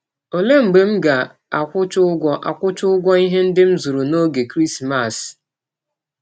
Ọlee mgbe m ga - akwụcha ụgwọ - akwụcha ụgwọ ihe ndị m zụrụ n’ọge Krismas? ’